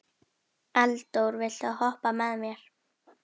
Eldór, viltu hoppa með mér?